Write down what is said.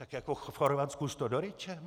Tak jako v Chorvatsku s Todoričem?